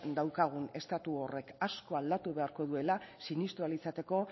daukagun estatu horrek asko aldatu egin beharko duela sinestu ahal izateko